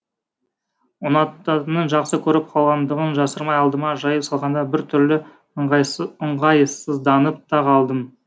ұнататынын жақсы көріп қалғандығын жасырмай алдыма жайып салғанда бір түрлі ыңғайсызданып та қалдым